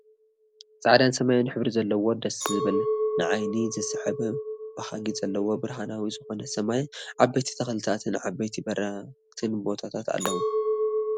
ፃዕዳን ሰማያዊ ሕብሪ ዘለዎ ደሰ ዝብል ንዓይኒ ዝስሕብ ብሃጊ ዘለዎ ብርሃናዊ ዝኮነ ሰማይ ዓበይቲ ተክለታትን ዓበይቲን በረክትን ቦታት ኣለው ።